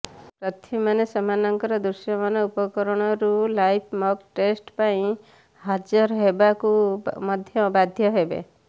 ପ୍ରାର୍ଥୀମାନେ ସେମାନଙ୍କର ଦୃଶ୍ୟମାନ ଉପକରଣରୁ ଲାଇଭ୍ ମକ୍ ଟେଷ୍ଟ ପାଇଁ ହାଜର ହେବାକୁ ମଧ୍ୟ ବାଧ୍ୟ ହେବେ